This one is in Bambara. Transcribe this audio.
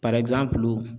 Parayi gilan